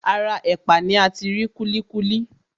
Ara ẹ̀pà ni ati rí kúlíkúlí.